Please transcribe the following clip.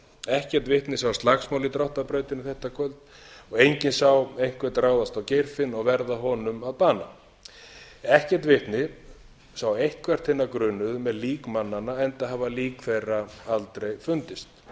ekkert vitni sá slagsmál í dráttarbrautinni þetta kvöld og enginn sá einhvern ráðast á geirfinn og verða honum að bana ekkert vitni sá eitthvert hinna grunuðu með lík mannanna enda hafa lík þeirra aldrei fundist